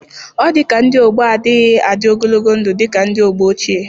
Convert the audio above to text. Ọ dika ndị ọgbọ á adịghị adị ogologo ndụ dị ka ndị ọgbọ ochie